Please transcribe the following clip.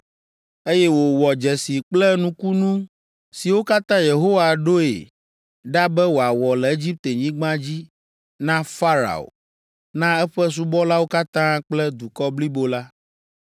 eye wòwɔ dzesi kple nukunu siwo katã Yehowa ɖoe ɖa be wòawɔ le Egiptenyigba dzi na Farao, na eƒe subɔlawo katã kple dukɔ blibo la,